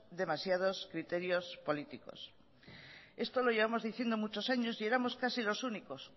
demasiados criterios políticos esto lo llevamos diciendo muchos años y éramos casi los únicos